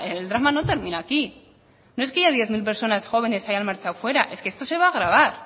el drama no termina aquí no es que haya diez mil personas jóvenes que se han marchado fuera es que esto se va a agravar